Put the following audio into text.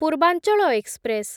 ପୂର୍ବାଞ୍ଚଳ ଏକ୍ସପ୍ରେସ୍